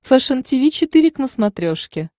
фэшен тиви четыре к на смотрешке